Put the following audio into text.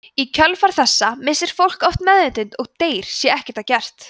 í kjölfar þessa missir fólk oft meðvitund og deyr sé ekkert að gert